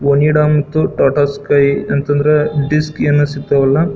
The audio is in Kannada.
ಒನಿಡಾ ಮತ್ತು ಟಾಟಾ ಸ್ಕೈ ಅಂತ ಅಂದ್ರೆ ಡಿಸ್ಕ್ ಏನೋ ಸಿಗತ್ತವಲ್ಲಾ.